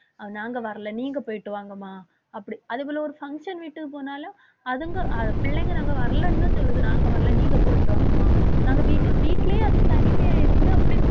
நாங்க வரல. நீங்க போயிட்டு வாங்கம்மா. அப்படி அதேபோல ஒரு function வீட்டுக்கு போனாலும் அதுங்க அது பிள்ளைங்க நாங்க வரலைன்னுதான் சொல்லுது நாங்க வரல நீங்க போயிட்டு வாங்கம்மா. நாங்க வீட்ல வீட்டிலேயே அது தனிமையா இருந்து அப்படி